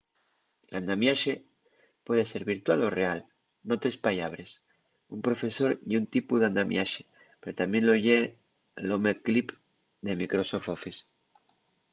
l’andamiaxe puede ser virtual o real n’otres pallabres un profesor ye un tipu d’andamiaxe pero tamién lo ye l’home clip de microsoft office